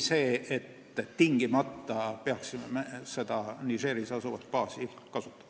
Me ei pea tingimata seda Nigeris asuvat baasi kasutama.